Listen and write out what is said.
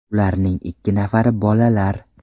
Ularning ikki nafari bolalar.